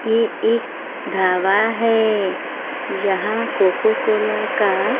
ये एक ढाबा है जहां कोको कोला का--